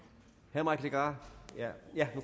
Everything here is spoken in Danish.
herre mike legarth